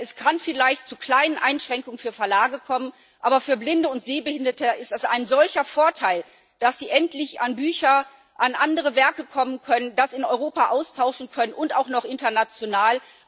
Es kann vielleicht zu kleinen Einschränkungen für Verlage kommen. Aber für Blinde und Sehbehinderte ist es ein solcher Vorteil, dass sie endlich an Bücher, an andere Werke kommen können, das in Europa austauschen können und auch noch international.